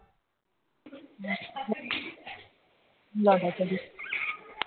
ਲੈਆ ਬੋਤਲ